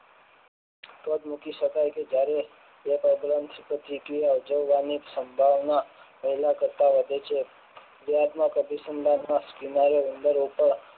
તો જ મૂકી શકાય કે જ્યારે તે પ્રબલન પ્રક્રિયાની સંભાવના પહેલા કરતા વધે છે ક્રિયાત્મક અભિસંધાન માં કિનારે અંદર